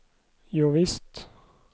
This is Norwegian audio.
jovisst